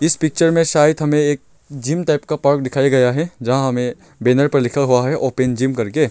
इस पिक्चर में शायद हमें एक जिम टाइप का पार्क दिखाया गया है जहां हमें बैनर पे लिखा हुआ है ओपन जिम कर के।